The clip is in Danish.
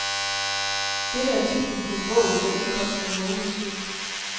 Dette er titlen på en bog, der udkom for en måned siden.